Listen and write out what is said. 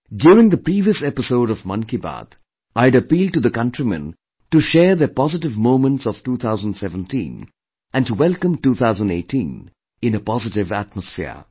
During the previous episode of Mann Ki Baat, I had appealed to the countrymen to share their positive moments of 2017 and to welcome 2018 in a positive atmosphere